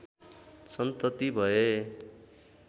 सन्तति भए